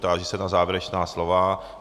Táži se na závěrečná slova.